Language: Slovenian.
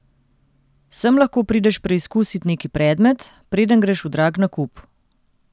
Sem lahko prideš preizkusit neki predmet, preden greš v drag nakup.